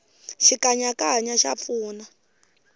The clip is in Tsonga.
xikanyakanya xa pfuna